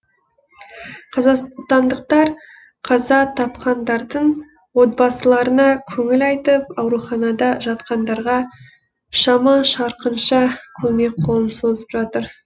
қазақстандықтар қаза тапқандардың отбасыларына көңіл айтып ауруханада жатқандарға шама шарқынша көмек қолын созып жатыр